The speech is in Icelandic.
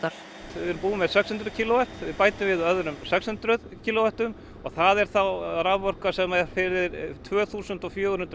við erum búin með sex hundruð kílóvött við bætum við öðrum sex hundruð kílóvöttum og það er þá raforka fyrir tvö þúsund og fjögur hundruð